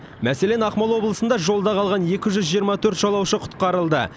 мәселен ақмола облысында жолда қалған екі жүз жиырма төрт жолаушы құтқарылды